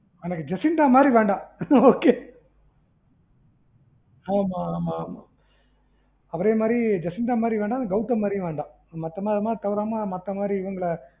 எனக்கு ஜெசிந்தா மாறி வேண்டாம் okay ஆமா ஆமா அப்புறம் இதுமாறி ஜெசிந்தா மாறி வேண்டாம் கௌதம் மாறியும் வேண்டாம் மத்த மாறி தவிரனா மத்த மாறி இவுங்கள